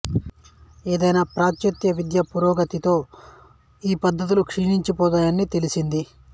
ఏదేమైనా పాశ్చాత్య విద్య పురోగతితో ఈ పద్ధతులు క్షీణించిపోతున్నాయని తెలిసింది